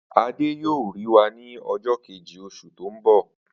Adé yóò rí wa ní o̩jó̩ keji, os̩ù tó ń bò